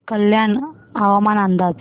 कल्याण हवामान अंदाज